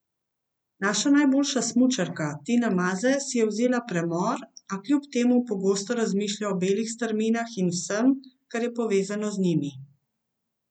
Naša najboljša smučarka Tina Maze si je vzela premor, a kljub temu pogosto razmišlja o belih strminah in vsem, kar je povezano z njimi.